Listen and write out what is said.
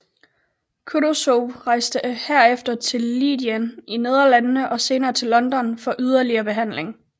Kutuzov rejste herefter til Leiden i Nederlandene og senere til London for yderligere behandling